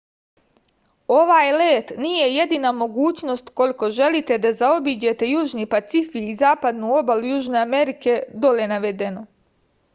овај лет није једина могућност уколико желите да заобиђете јужни пацифик и западну обалу јужне америке. доле наведено